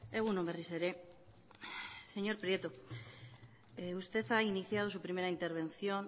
egun on berriz ere señor prieto usted ha iniciado su primera intervención